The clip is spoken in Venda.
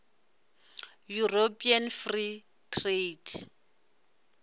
european free trade